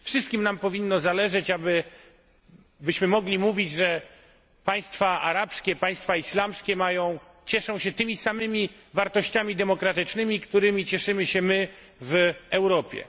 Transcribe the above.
Wszystkim nam powinno zależeć na tym, byśmy mogli mówić, że państwa arabskie, państwa islamskie cieszą się tymi samymi wartościami demokratycznymi, którymi cieszymy się my w Europie.